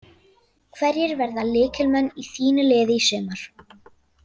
Hverjir verða lykilmenn í þínu liði í sumar?